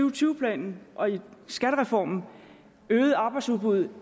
og tyve planen og skattereformen vil øge arbejdsudbuddet